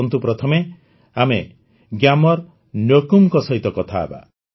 ଆସନ୍ତୁ ପ୍ରଥମେ ଆମେ ଗ୍ୟାମର୍ ନ୍ୟୋକୁମ୍ଙ୍କ ସହିତ କଥା ହେବା